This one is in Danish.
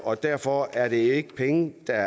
og derfor er det ikke penge der